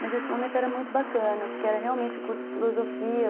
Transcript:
Mas esse momento era muito bacana, porque era realmente um curso de filosofia.